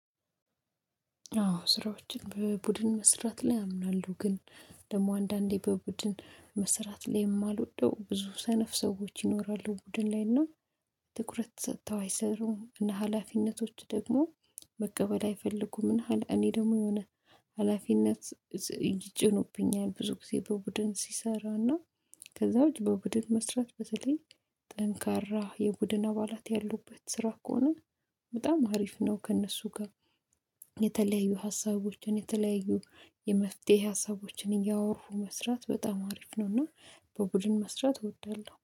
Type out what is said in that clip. አዎ ስራዎችን በቡድን መስራት ላይ አምናለሁ። ግን ደግሞ አንዳንዴ በቡድን መስራት ላይ የማልወደው ብዙ ሰነፍ ሰዎች ይኖራሉ ቡድን ላይና ትኩረት ሰጥተው አይሰሩም እና ሀላፊነቶች ደግሞ መቀበል አይፈልጉም። እና እኔ ደግሞ የሆነ ሀላፊነት ይጭኑብኛል ብዙ ጊዜ በቡድን ሲሰራና ከዛ ውጪ በቡድን መስራት በተለይ ጠንካራ የቡድን አባላት ያሉበት ስራ ከሆነ በጣም አሪፍ ነው። ከእነሱ ጋር ሀሳቦችን የተለያዩ የመፍትሄ ሀሳቦችን እያወሩ መስራት በጣም አሪፍ ነውና። በቡድን መስራት እወዳለሁ